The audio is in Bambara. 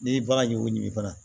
N'i ye bagan ɲugu ɲinan fana